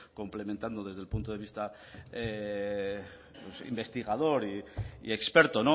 complementando desde el punto de vista investigador y experto